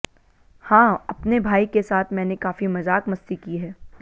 हां अपने भाई के साथ मैंने काफी मजाक मस्ती की है